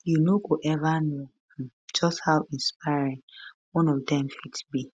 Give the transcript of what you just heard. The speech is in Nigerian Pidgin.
you no go ever know um just how inspiring one of dem fit be